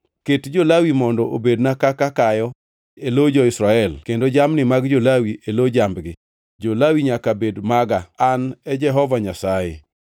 “Ket jo-Lawi mondo obedna kaka kayo e lo jo-Israel, kendo jamni mag jo-Lawi e lo jambgi. Jo-Lawi nyaka bed maga. An e Jehova Nyasaye.